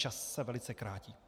Čas se velice krátí.